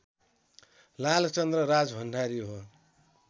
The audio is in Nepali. लालचन्द्र राजभण्डारी हो